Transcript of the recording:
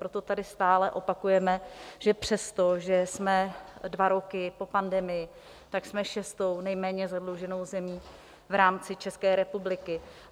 Proto tady stále opakujeme, že přesto, že jsme dva roky po pandemii, tak jsme šestou nejméně zadluženou zemí v rámci České republiky.